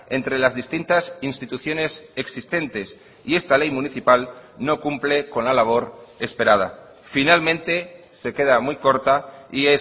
entre las distintas instituciones existentes y esta ley municipal no cumple con la labor esperada finalmente se queda muy corta y